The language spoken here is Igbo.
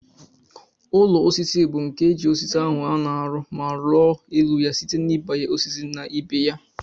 Ụlọ osisi bu nke eji osisi ahu ana arụ ma ruọ elu ya site na ibanye osisi na ibeya.